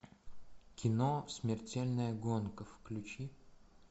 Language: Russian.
кино смертельная гонка включи